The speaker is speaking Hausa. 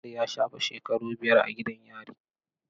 Umaru ya shafe shekaru biyar a gidan yari.